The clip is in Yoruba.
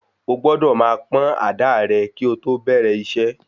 Ó gbọ́dọ̀ máa pọ́n àdáà rẹ kí o tó bẹ̀rẹ̀ iṣẹ́.